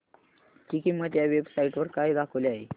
ची किंमत या वेब साइट वर काय दाखवली आहे